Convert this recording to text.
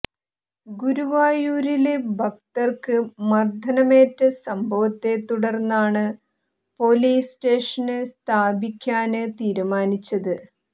ഗുരുവായൂരില് ഭക്തര്ക്ക് മര്ദ്ദനമേറ്റ സംഭവത്തെത്തുടര്ന്നാണ് പൊലീസ് സ്റ്റേഷന് സ്ഥാപിയ്ക്കാന് തീരുമാനിച്ചത്